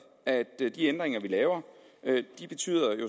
at de ændringer vi laver